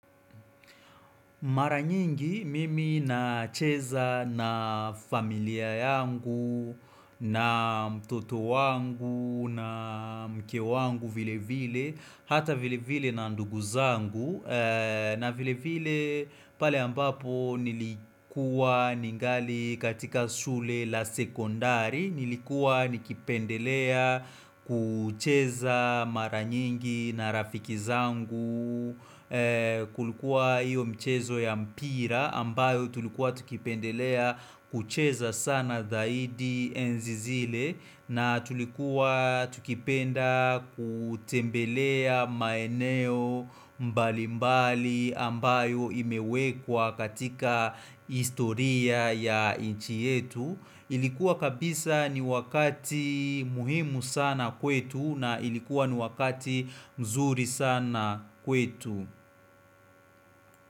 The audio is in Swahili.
Mara nyingi mimi nacheza na familia yangu, na mtoto wangu, na mke wangu vile vile, hata vile vile na ndugu zangu. Na vile vile pale ambapo nilikuwa ningali katika shule la sekondari Nilikuwa nikipendelea kucheza mara nyingi na rafiki zangu Kulikuwa iyo mchezo ya mpira ambayo tulikuwa tukipendelea kucheza sana dhaidi enzi zile na tulikuwa tukipenda kutembelea maeneo mbalimbali ambayo imewekwa katika historia ya inchi yetu Ilikuwa kabisa ni wakati muhimu sana kwetu na ilikuwa ni wakati mzuri sana kwetu.